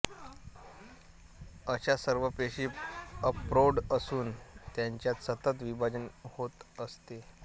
अशा सर्व पेशी अप्रौढ असून त्यांच्यात सतत विभाजन होत असते